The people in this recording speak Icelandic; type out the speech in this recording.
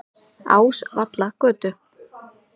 Ásvallagötu